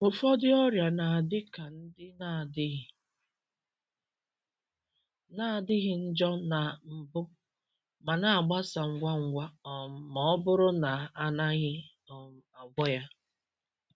Ụfọdụ ọrịa na-adị ka ndị na-adịghị na-adịghị njọ na mbụ ma na-agbasa ngwa ngwa um ma ọ bụrụ na a naghị um agwọ ya.